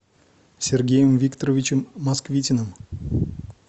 сергеем викторовичем москвитиным